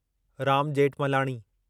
Ram Jethmalani